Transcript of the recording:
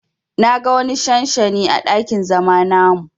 Na ga wani shanshani à dakin zama namu.